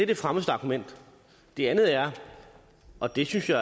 det fremmeste argument det andet er og det synes jeg